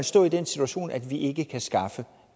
stå i den situation at man ikke kan skaffe